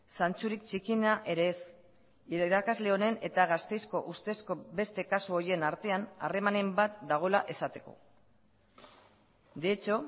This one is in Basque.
zantzurik txikiena ere ez irakasle honen eta gasteizko ustezko beste kasu horien artean harremanen bat dagoela esateko de hecho